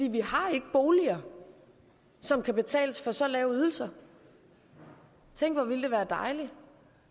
vi har ikke boliger som kan betales med så lave ydelser tænk hvor ville det være dejligt